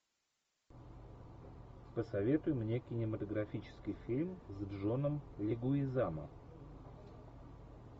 посоветуй мне кинематографический фильм с джоном легуизамо